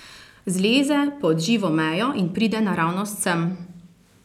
Zleze pod živo mejo in pride naravnost sem!